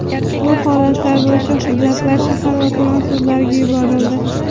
Ushbu holatlar bo‘yicha hujjatlar shahar va tuman sudlariga yuborildi.